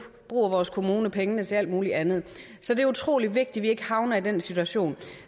bruger vores kommuner pengene til alt muligt andet det er utrolig vigtigt at vi ikke havner i den situation